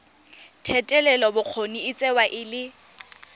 thetelelobokgoni e tsewa e le